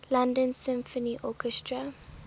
london symphony orchestra